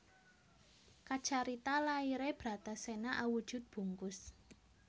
Kacarita laire Bratasena awujud bungkus